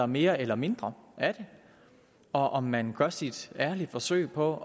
mere eller mindre af det og om man gør sit ærlige forsøg på